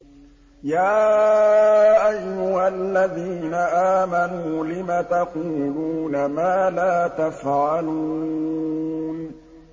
يَا أَيُّهَا الَّذِينَ آمَنُوا لِمَ تَقُولُونَ مَا لَا تَفْعَلُونَ